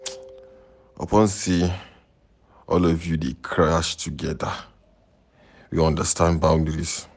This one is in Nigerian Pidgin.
Upon sey all of us dey crash together, we understand boundaries.